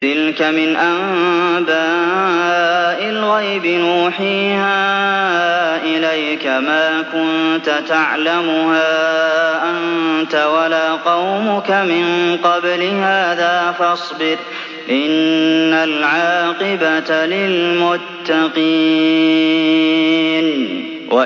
تِلْكَ مِنْ أَنبَاءِ الْغَيْبِ نُوحِيهَا إِلَيْكَ ۖ مَا كُنتَ تَعْلَمُهَا أَنتَ وَلَا قَوْمُكَ مِن قَبْلِ هَٰذَا ۖ فَاصْبِرْ ۖ إِنَّ الْعَاقِبَةَ لِلْمُتَّقِينَ